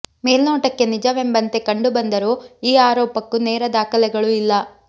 ಮೇಲ್ನೋಟಕ್ಕೆ ನಿಜವೆಂಬಂತೆ ಕಂಡು ಬಂದರೂ ಈ ಆರೋಪಕ್ಕೂ ನೇರ ದಾಖಲೆಗಳು ಇಲ್ಲ